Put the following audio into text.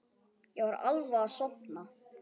Ég var alveg að sofna.